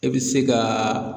E bɛ se ka